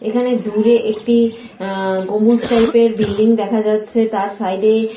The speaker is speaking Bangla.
এখানে দূরে একটি অ্যা গম্বুজ টাইপ -এর বিল্ডিং দেখা যাচ্ছে। তার সাইড -এ --